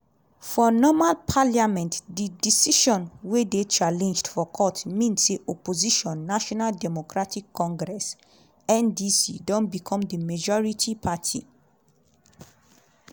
for normal parliament di decision – wey dey challenged for court – mean say opposition national democratic congress (ndc) don become di majority party.